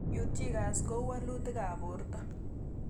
Peutz Jaghers koiu walutik ab porto